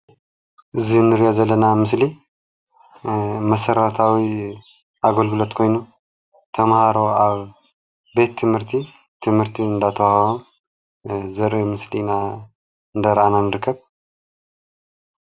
እዚ እንሪኦ ዘለና ምስሊ መሰረታዊ ኣገልግሎት ኮይኑ ተምሃሮ ኣብ ቤት ትምህርቲ ትምህርቲ እንዳተወሃቦም ዘርኢ ምስሊ እንዳ ረኣና ንርከብ፡፡